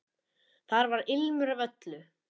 Þar var ilmur af öllu.